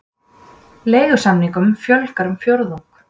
Leigusamningum fjölgar um fjórðung